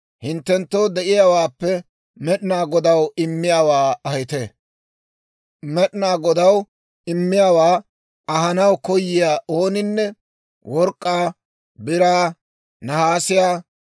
hinttenttoo de'iyaawaappe Med'inaa Godaw immiyaawaa ahite; Med'inaa Godaw immiyaawaa ahanaw koyiyaa ooninne work'k'aa, biraa, nahaasiyaa,